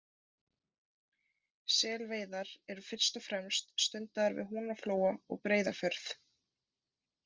Selveiðar eru fyrst og fremst stundaðar við Húnaflóa og Breiðafjörð.